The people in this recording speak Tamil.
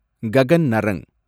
ககன் நரங்